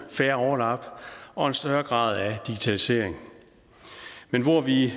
færre overlap og en større grad af digitalisering men hvor vi